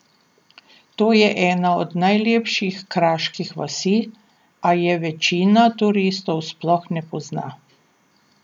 To je ena od najlepših kraških vasi, a je večina turistov sploh ne pozna.